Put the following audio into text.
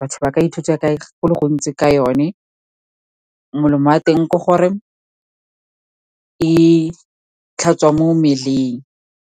Batho ba ka ithuta ka go le gontsi ka yone. Molemo wa teng ke gore e tlhatswa mo mmeleng.